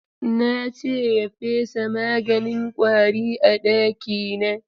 Na ce ya fesa maganin ƙwari a ɗakina.